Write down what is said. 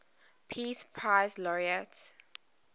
peace prize laureates